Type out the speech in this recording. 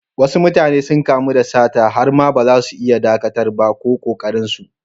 Wasu mutane sun kamu da sata har ma baza su iya ɗakatar ba, ko ƙoƙarin su.